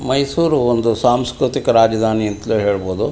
ಮೈಸೂರ್ ಒಂದು ಸಾಂಸ್ಕ್ರತಿಕ ರಾಜಧಾನಿ ಅಂತಲೂ ಹೇಳಬಹುದು.